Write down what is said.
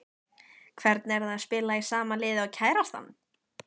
Hvernig er það að spila í sama liði og kærastan?